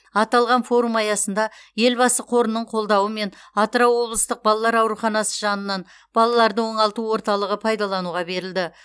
аталған форум аясында елбасы қорының қолдауымен атырау облыстық балалар ауруханасы жанынан балаларды оңалту орталығы пайдалануға берілді